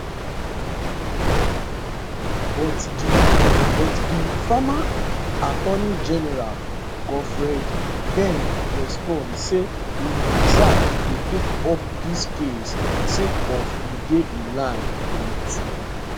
but di but di former attorney general godfred dame respond say im decide to take up dis case sake of e dey in line wit